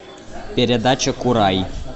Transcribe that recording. передача курай